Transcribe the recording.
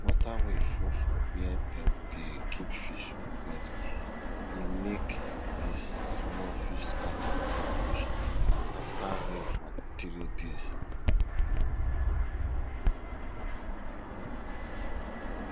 water wey full for where dem dey keep fish flood e make the small fish scatter go bush after rain for three days